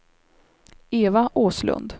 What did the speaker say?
Eva Åslund